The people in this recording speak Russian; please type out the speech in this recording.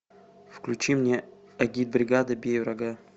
включи мне агитбригада бей врага